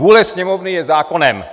Vůle Sněmovny je zákonem.